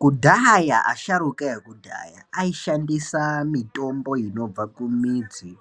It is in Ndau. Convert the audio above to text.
Kudhaya asharuka ekudhaya aishandisa mitombo inobva kumidzi,